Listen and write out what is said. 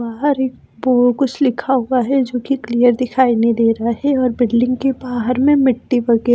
बाहर वो कुछ लिखा हुआ है जो कि क्लियर दिखाई नहीं दे रहा है और बिल्डिंग के बाहर में मिट्टी वगैरह--